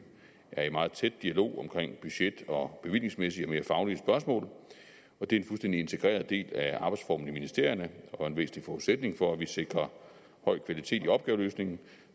er i meget tæt dialog omkring budget og bevillingsmæssige og mere faglige spørgsmål og det er en fuldstændig integreret del af arbejdsformen i ministerierne og en væsentlig forudsætning for at vi sikrer høj kvalitet i opgaveløsningen